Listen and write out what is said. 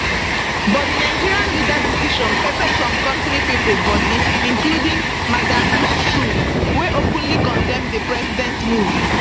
but di nigerian leader decision pepper some kontri pipo body including madam yesuf wey openly condemn di president move